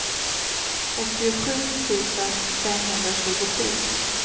åttiosju tusen femhundratjugosju